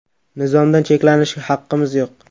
Nizomdan cheklanishga haqqimiz yo‘q.